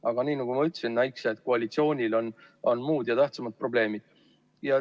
Aga nagu ma ütlesin, näikse, et koalitsioonil on muud ja tähtsamad probleemid.